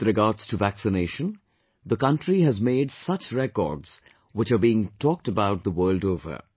With regards to Vaccination, the country has made many such records which are being talked about the world over